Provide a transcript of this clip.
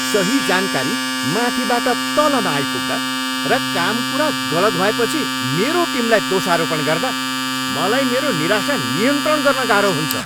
सही जानकारी माथिबाट तल नआइपुग्दा र काम कुरा गलत भएपछि मेरो टिमलाई दोषारोपण गर्दा मलाई मेरो निराशा नियन्त्रण गर्न गाह्रो हुन्छ।